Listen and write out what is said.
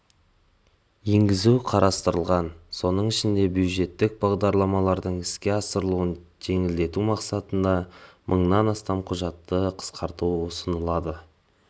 енгізу қарастырылған соның ішінде бюджеттік бағдарламалардың іске асырылуын жеңілдету мақсатында мыңнан астам құжатты қысқарту ұсынылады